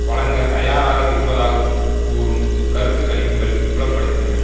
வழங்க தயாராக இப்பதாகக் கூறும் கருத்து கணிப்புகள் புலப்படுத்தின